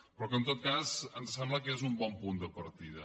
però en tot cas ens sembla que és un bon punt de partida